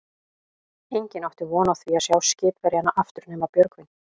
Enginn átti von á því að sjá skipverjana aftur nema Björgvin.